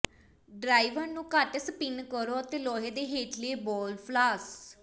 driver ਨੂੰ ਘੱਟ spin ਕਰੋ ਅਤੇ ਲੋਹੇ ਦੇ ਹੇਠਲੇ ਬਾਲ ਫਲਾਸ